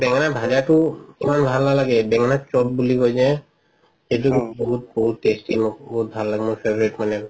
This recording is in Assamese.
বেঙেনা ভাজাতো ইমান ভাল নালাগে বেঙেনা চপ বুলি কই যে সেইটো বহুত বহুত tasty মোৰ বহুত ভাল লাগে মোৰ favorite মানে আৰু